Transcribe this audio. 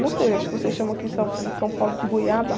Não sei, acho que vocês chamam aqui em São, em São Paulo de goiaba.